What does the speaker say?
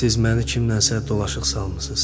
Siz məni kimlənsə dolaşıq salmısınız.